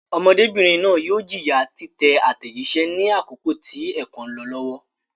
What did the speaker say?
Ọmọdébìnrin náà yóò jìyà títẹ àtẹ̀jíṣẹ́ ní àkókò tí ẹ̀kọ́ ń lọ lọ́wọ́.